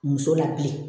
Muso la bilen